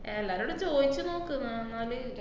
എല്ലാരോടും ചോയിച്ച് നോക്ക് ഏർ ന്നാല്